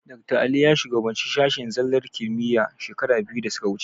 Dakta Ali ya shugabanci sashen zallar kimiyya shekara biyu da suka wuce.